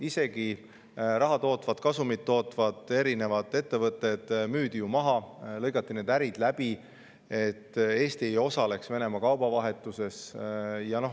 Isegi raha tootvad, kasumit tootvad ettevõtted müüdi maha, lõigati läbi nende ärid, et Eesti ei osaleks Venemaa kaubavahetuses.